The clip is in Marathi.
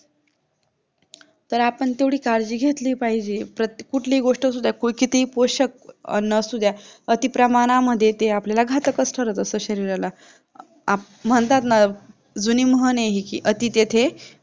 तर आपण तेव्हडी काळजी घेतली पाहिजे कुठलीही गोष्ट असुद्या क्वचित पोषक अन्न असुद्या अतिप्रमाणामधे ते घातकच ठरत असत शरीराला म्हणतात ना जुनी म्हण आहे कि हि अति तेथे